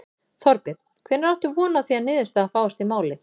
Þorbjörn: Hvenær áttu von á því að niðurstaða fáist í málið?